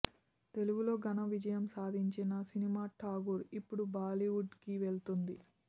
తెలుగులో ఘన విజయం సాధించిన సినిమా ఠాగూర్ ఇప్పుడు బాలీవుడ్కి వెళ్తోంది